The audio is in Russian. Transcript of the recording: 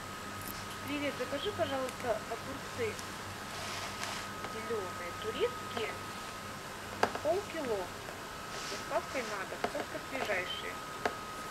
привет закажи пожалуйста огурцы зеленые турецкие пол кило с доставкой на дом только свежайшие